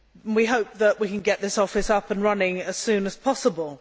We hope that we can get this office up and running as soon as possible.